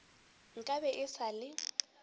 nka be e sa le